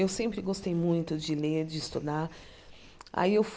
Eu sempre gostei muito de ler, de estudar. Aí eu